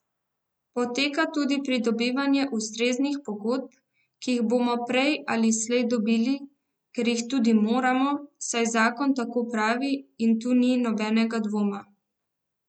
Poteka tudi pridobivanje ustreznih pogodb, ki jih bomo prej ali slej dobili, ker jih tudi moramo, saj zakon tako pravi in tu ni nobenega dvoma.